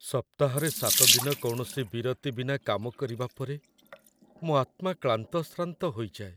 ସପ୍ତାହରେ ୭ ଦିନ କୌଣସି ବିରତି ବିନା କାମ କରିବା ପରେ ମୋ ଆତ୍ମା କ୍ଳାନ୍ତଶ୍ରାନ୍ତ ହୋଇଯାଏ |